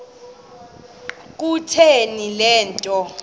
kutheni le nto